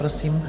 Prosím.